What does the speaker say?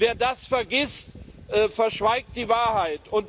Wer das vergisst, verschweigt die Wahrheit.